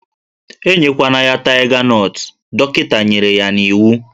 Enyekwana ya taiga nọt, dọkịta nyere ya n'iwu!